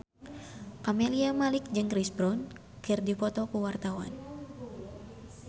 Camelia Malik jeung Chris Brown keur dipoto ku wartawan